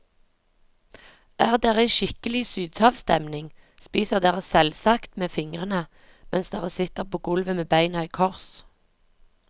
Er dere i skikkelig sydhavssteming spiser dere selvsagt med fingrene, mens dere sitter på gulvet med beina i kors.